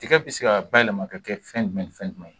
Tigɛ bi se ka bawɛlɛma kɛ fɛn jumɛn ni fɛn jumɛn ye